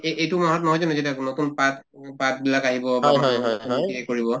এই‍ এইটো মাহত নহয় জানো যেতিয়া নতুন পাত পাতবিলাক আহিব কৰিব